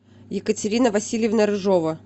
екатерина васильевна рыжова